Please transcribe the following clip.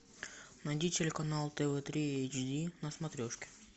найди телеканал тв три эйч ди на смотрешке